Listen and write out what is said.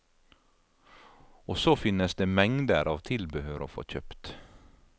Og så finnes det mengder av tilbehør å få kjøpt.